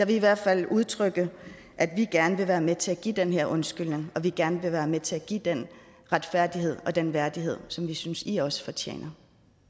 vi i hvert fald udtrykke at vi gerne vil være med til at give den her undskyldning og at vi gerne være med til at give den retfærdighed og den værdighed som vi synes i også fortjener